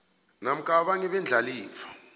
namkha abanye beendlalifa